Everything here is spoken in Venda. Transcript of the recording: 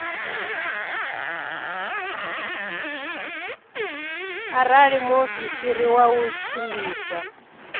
arali muofisiri wa u tshimbidza